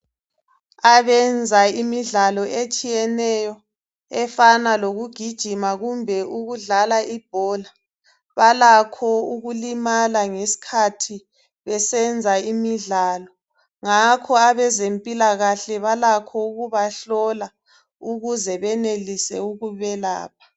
Abenza imidlalo etshiyeneyo efana lokugijima kumbe ukudlala ibhola balakho ukulimala ngesikhathi besenza imidlalo. Ngakho abezempilakahle balakho ukubahlola ukuze benelise ukubelapha.